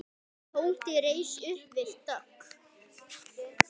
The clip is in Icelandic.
Tóti reis upp við dogg.